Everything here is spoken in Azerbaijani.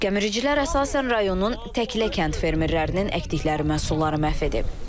Gəmiricilər əsasən rayonun təklə kənd fermerlərinin əkdikləri məhsulları məhv edib.